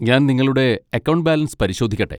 ഞാൻ നിങ്ങളുടെ account balance പരിശോധിക്കട്ടെ?